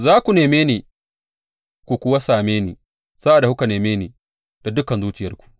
Za ku neme ni ku kuwa same ni sa’ad da kuka neme ni da dukan zuciyarku.